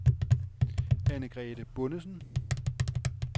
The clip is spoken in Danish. Anne-Grete Bondesen